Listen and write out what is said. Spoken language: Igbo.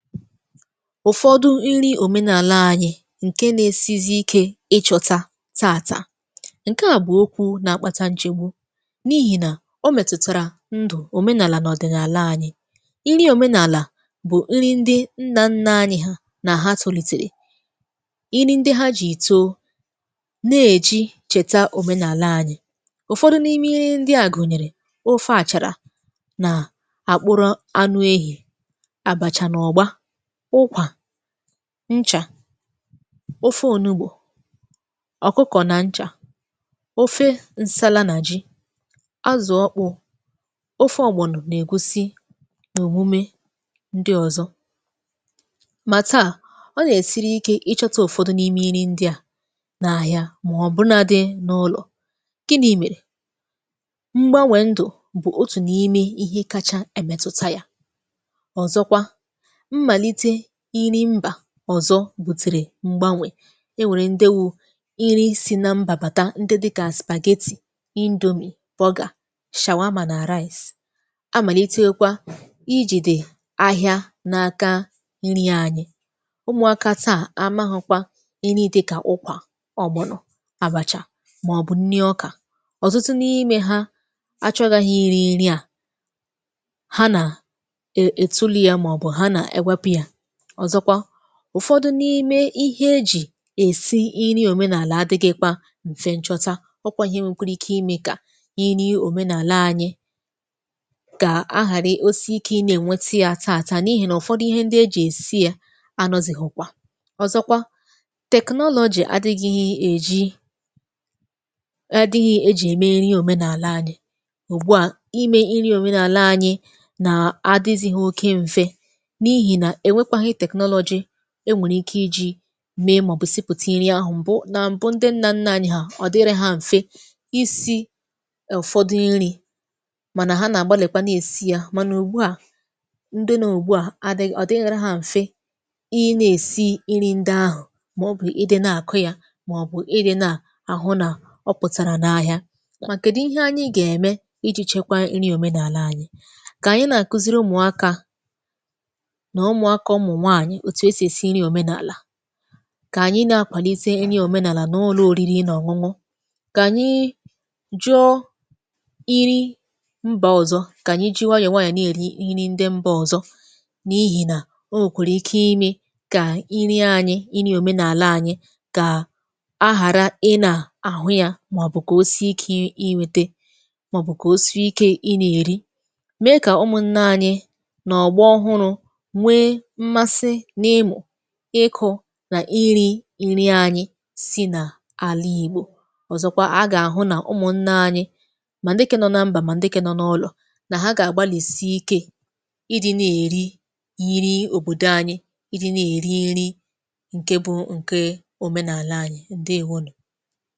ụ̀fọdụ nri òmenàlà anyị̇ ǹke na-esizi ike ịchọ̇ta taàtà ǹke à bụ̀ okwu̇ na-akpata njigwu n’ihì nà o mètùtàrà ndù òmenàlà n’ọ̀dị̀ n’àlà anyị̇ nri òmenàlà bụ̀ nri ndị nna nna anyị̇ ha nà ha tùlìtèrè nri ndị ha jà ìto na-èji chèta òmenàlà anyị̇ ụ̀fọdụ n’ime nri ndị à gụ̀nyèrè ofe àchàrà nà àkpụrụ anụ ehi̇ ncha ofe onugbo ọ̀kụkọ̀ nà ncha ofe nsala nà ji azụ̀ọkpụ̀ ofe ọ̀gbọnụ̀ nà-ègosi n’òbumė ndị ọ̀zọ mà taà ọ nà-èsiri ike ịchata ụ̀fọdụ n’ime iri ndị à nà-àhìà mà ọ̀ bụ̀ na dị n’ụlọ̀ gị n’imèrè m̀gbanwè ndụ̀ bụ̀ otù n’ime ihe kacha emetuta yȧ ọ̀zọkwa ọ̀zọ bùtìrì m̀gbanwè e nwèrè ndewu iri si na m bàbàta ndị dị kà spagheti indomie vọgà shàwa amà nà rice amàlite kwa ijì dì ahìà n’aka nri anyị̇ umùakȧta amaghọ̇kwa nri dị kà ụkwà ọ̀gbọnụ̀ àbàchà màọ̀bụ̀ nri ọkà ọ̀zọ̀tụ n’ime ha achọghị iri̇ nri à ha nà ètulu ya màọ̀bụ̀ ha nà ewepu ya ụ̀fọdụ n’ime ihe ejì èsi iri òmenàlà adị̇gị̇ kwa m̀fe nchọta ọ kwȧ ihe nwèkwara ike imė kà iri òmenàlà anyị kà ahàrị ose ike inė nwete ya ata àta n’ihì nà ụ̀fọdụ ihe ndị ejì èsi ya anọ̇zị̀ hụkwa ọ̀zọkwa technology adịghị èji adịghị ejì ème nri òmenàlà anyị̇ ùgbu à imė iri òmenàlà anyị̇ nà adịzị ha oke m̀fe e nwèrè ike iji̇ mee màọbụ̀ isipụ̀ta iri ahụ̀ m̀bụ na m̀bụ ndị nnȧ nnȧ anyị̇ hà ọ̀ dịrị hȧ m̀fe isi ụ̀fọdụ nri̇ mànà ha nà-àgbalìkwanụ èsi yȧ mànà ùgbu à ndị nà ùgbu à adịghị ọ̀ dịghere hȧ m̀fe ị na-èsi nri ndị ahụ̀ màọbụ̀ ị dị na-àkụ yȧ màọbụ̀ ị dị̇ na àhụ nà ọ pụ̀tàrà n’ahìà màkị̀dụ̀ ihe anyị gà-ème iji̇ chekwa nri òmenàlà anyị̇ kà anyị na-àkụziri ụmụ̀akȧ òtù esì èsi iri òmenàlà kà ànyị na-apàlite iri òmenàlà n’olụ oriri ị nà ọ̀ṅụṅụ kànyị jụọ iri mbà ọ̀zọ kà anyị ji way nye nwaànyị̀ èri nri ndị mbà ọ̀zọ n’ihì nà o nwèkàrà ike imi kà iri anyị̇ iri òmenàlà anyị̇ kà ahàra ị nà àhụ yȧ mà ọ̀ bụ̀kà o si ikė ịnwėte mà ọ̀ bụ̀kà o si ikė ịnà èri mee kà ụmụ̀ nna anyị̇ nà ọ̀gba ọhụrụ̇ ịkụ̇ nà iri nri anyị̇ si n’àlà ìgbò ọ̀zọkwa a gà-àhụ nà ụmụ̀ nne anyị̇ mà ǹdịke nọ nà mbà mà ǹdịke nọ n’ụlọ̀ nà ha gà-àgbalìsi ike ịdị̇ na-èri ya nri òbòdò anyị̇ ǹdị na-èri nri ǹke bụ ǹke òmenàlà anyị̇ ǹdị ihunù